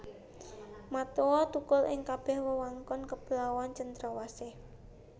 Matoa thukul ing kabeh wewengkon kepulauan Cendrawasih